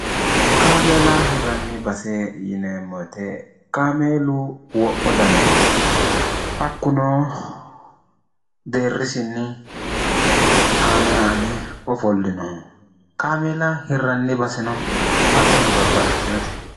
kaamiila hirranni base yineemmoete kaameelu wo'mo daniho hakkunoo deerrisinni aane aane ofollino qaamila hirranni basino hattono babbaxxitihoote